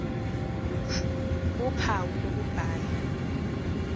ph uphawu lokubhala